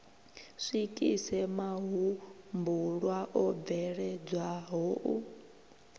swikise mahumbulwa o bveledzwaho u